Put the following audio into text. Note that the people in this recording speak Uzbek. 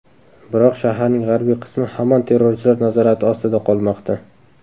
Biroq shaharning g‘arbiy qismi hamon terrorchilar nazorati ostida qolmoqda.